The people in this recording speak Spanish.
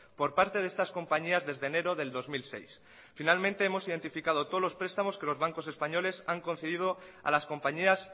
por parte de estas compañías desde enero del dos mil seis finalmente hemos identificado todos los prestamos que los bancos españoles han concedido a las compañías